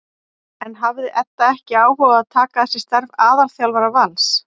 En hafði Edda ekki áhuga á að taka að sér starf aðalþjálfara Vals?